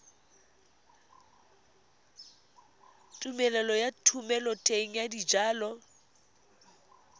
tumelelo ya thomeloteng ya dijalo